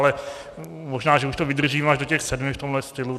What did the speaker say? Ale možná že už to vydržím až do těch sedmi v tomhle stylu.